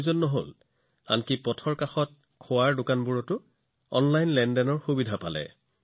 আনকি street food আৰু পদপথৰ দোকানতো তেওঁলোকে বেছিভাগ ঠাইতে অনলাইন লেনদেনৰ সুবিধা লাভ কৰিছিল